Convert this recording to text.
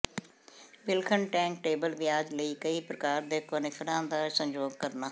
ਵਿਲੱਖਣ ਟੈਕੱਟੇਬਲ ਵਿਆਜ ਲਈ ਕਈ ਪ੍ਰਕਾਰ ਦੇ ਕੋਨਿਫ਼ਰਾਂ ਦਾ ਸੰਯੋਗ ਕਰਨਾ